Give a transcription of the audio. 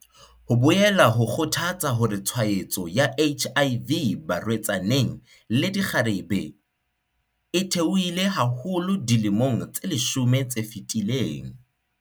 Ho boela ho kgothatsa hore tshwaetso ya HIV barwe-tsaneng le dikgarebe e the-ohile haholo dilemong tse leshome tse fetileng.